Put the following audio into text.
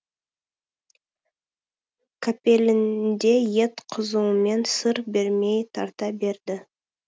қапелімде ет қызуымен сыр бермей тарта берді